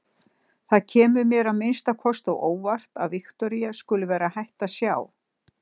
Það kemur mér að minnsta kosti á óvart að Viktoría skuli vera hætt að sjá.